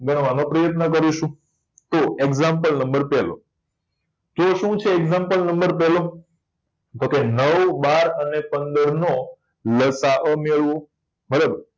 ગણવા નો પ્રયત્ન કરીશું તો example number પેલો તો શું છે example number પેલો તો કે નવ બાર અને પંદર નો લસા અ મેળવો બરોબર